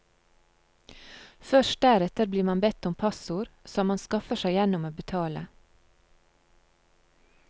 Først deretter blir man bedt om passord, som man skaffer seg gjennom å betale.